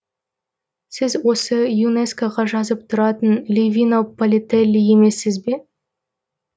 сіз осы юнескоға жазып тұратын ливино палетелли емессіз бе